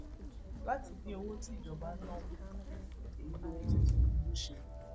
láti dín owó tíjọba ń ná kù èyí lohun tí tinubu ṣe